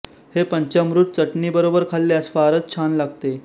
हे पंचाम्रुत चटणी बरोबर खाल्यास फारच छान लागते